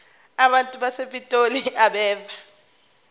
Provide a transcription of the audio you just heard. abantu basepitoli abeve